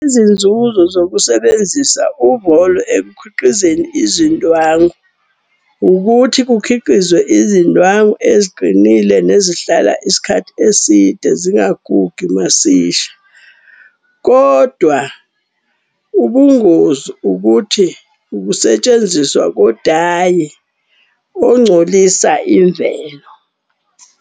Izinzuzo zokusebenzisa uvolo ekukhiqizeni izindwangu. Ukuthi kukhiqizwe izindwangu eziqinile nezihlala isikhathi eside zingagugi masisha. Kodwa ubungozi ukuthi ukusetshenziswa kodayi oncolisa imvelo.